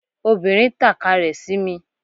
Obìnrin tàka rẹ̀ sí mi